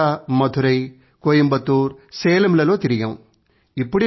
కొచ్చిన్ తర్వాత మధురై కోయంబత్తూర్ సేలం లలో తిరిగాము